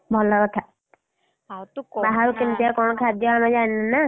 ଭଲ କଥା, କାହାର କେମିତିଆ କଣ ଖାଦ୍ୟ ଆମେ ଜାଣିନୁ ନାଁ?